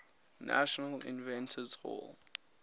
national inventors hall